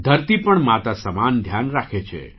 ધરતી પણ માતા સમાન ધ્યાન રાખે છે